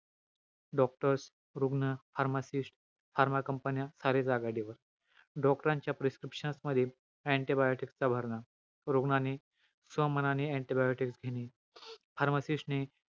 Doctors, रुग्ण, pharmacist, pharma company सारे doctor रांच्या prescription मध्ये, antibiotic चा भरणा. रुग्णाने स्वमनाने antibiotic घेणे. Pharmacist ने,